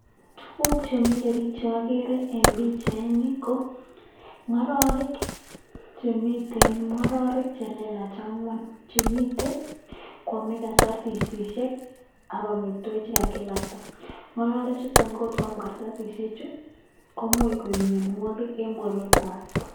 Tuguk chemile biik cheokere ne pichaini ko, ng'ororek che miten, ng'ororek che lelach ang'wan chemiten koame kartasishek ak amitwogik che kagilakta. Ng'ororechuto ko angot koam karatsisheju komuch koib mianwogik en borwekwag.